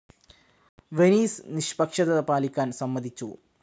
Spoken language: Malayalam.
വെനീസ് നിഷ്പക്ഷത പാലിക്കാൻ സമ്മതിച്ചു.